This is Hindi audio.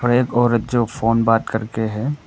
और एक औरत जो फोन बात करके हैं।